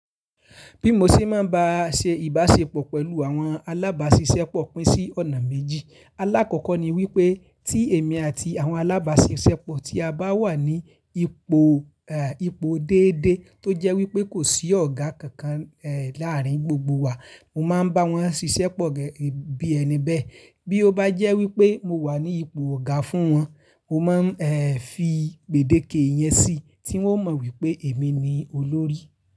Bí mo ṣe máa ń ṣe ìbáṣepọ̀ pẹ̀lú àwọn alábáṣiṣẹ́pọ̀ pín sí ọ̀nà méjì. Alákọ̀ọ́kọ́ ni wípé tí èmi àti àwọn alábáṣiṣẹ́pọ̀ tí a bá wà ní ipò, eh, ipò déédéé tó jẹ́ wípé kò sí ọ̀gá kankan, eh, láàárín gbogbo wa, mo máa ń bá wọn ṣiṣẹ́pọ̀ gẹ́gẹ́ bí ẹni bẹ́ẹ̀. Bí ó bá jẹ́ wípé mo wà ní ipò ọ̀gá fún wọn, mo má ń, eh, fi gbèdéke yẹn sí i tí wọ́n mọ̀ wípé èmi ni olórí.